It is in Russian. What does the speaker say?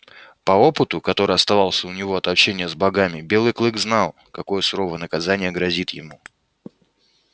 по опыту который оставался у него от общения с богами белый клык знал какое суровое наказание грозит ему